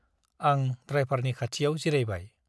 आं द्राइभारनि खाथियाव जिरायबाय ।